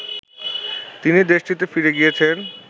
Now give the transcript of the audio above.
তিনি দেশটিতে ফিরে গিয়েছেন